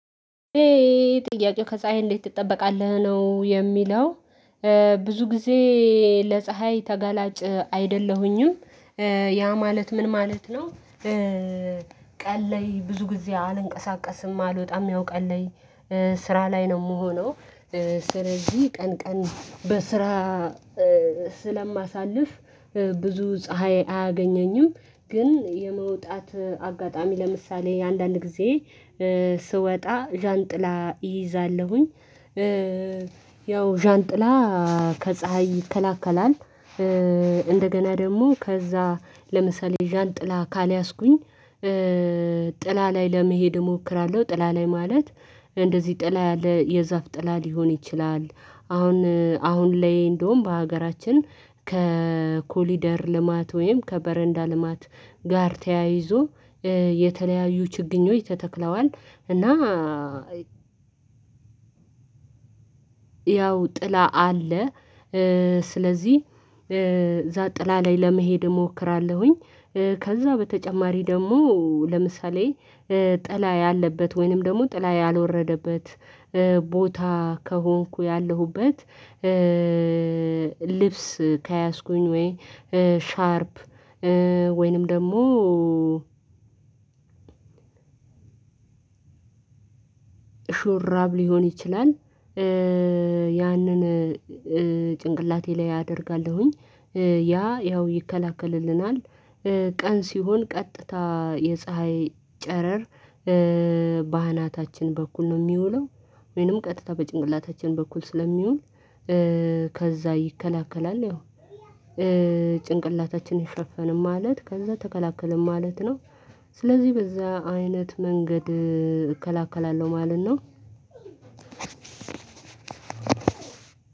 ጥያቄው ከፀሀይ እንዴት ትጠበቃለህ? ነው የሚለው ብዙ ጊዜ ለፀሀይ ተጋላጭ አይደለሁኝም። ያ ማለት ምን ማለት ነው? ቀን ላይ ብዙ ጊዜ አልንቀሳቀስም አልወጣም ያው ቀን ላይ ስራ ላይ ነው የምሆነው ስለዚህ ቀን ቀን በስራ ስለማሳልፍ ብዙ ፀሀይ አያገኘኝም፤ ግን የመውጣት አጋጣሚ ለምሳሌ አንዳንድ ጊዜ ስወጣ ዣንጥላ ይይዛለሁኝ። ያው ዣንጥላ ከፀሀይ ይከላከላል። እንደገና ደግሞ ከዛ ለምሳሌ ዣን ጥላ ካልያዝኩኝ ጥላ ላይ ለመሄድ እሞክራለሁ ጥላ ላይ ማለት እንደዚህ ጥላ ያለ የዛፍ ጥላ ሊሆን ይችላል አሁን አሁን ላይ እንደውም በሀገራችን ከኮሊደር ልማት ወይም ከበረንዳ ልማት ጋር ተያይዞ የተለያዩ ችግኞች ተተክለዋል እና ያው ጥላ አለ። ስለዚህ ጥላ ላይ ለመሄድ እሞክራለሁኝ። ከዛ በተጨማሪ ደግሞ ለምሳሌ ጥላ ያለበት ወይንም ደግሞ ጥላ ያልወረደበት ቦታ ከሆንኩ ያለሁበት ልብስ ከያዝኩኝ ወይ ሻርፕ ወይንም ደግሞ ሹራብ ሊሆን ይችላል፤ ያንን ጭንቅላቴ ላይ አደርጋለሁኝ ያ ያው ይከላከልልናል ቀን ሲሆን ቀጥታ የፀሀይ ጨረር ባህናታችን በኩል ነው የሚውለው፤ ወይንም ቀጥታ በጭንቅላታችን በኩል ስለሚውል ከዛ ይከላከላል ያው ጭንቅላታችንን ሸፈንን ማለት ከዛ ተከላከልን ማለት ነው ስለዚህ በዛ አይነት መንገድ እከላከላለሁ ማለት ነው